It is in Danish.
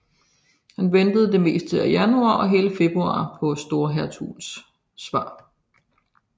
Han ventede det meste af januar og hele februar på storhertugens svar